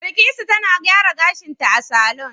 Bilkisu tana gyara gashinta a saloon